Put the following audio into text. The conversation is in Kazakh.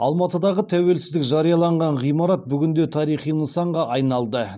алматыдағы тәуелсіздік жарияланған ғимарат бүгінде тарихи нысанға айналды